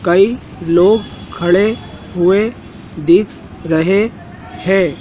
कई लोग खड़े हुए दिख रहे हैं।